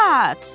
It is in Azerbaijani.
At!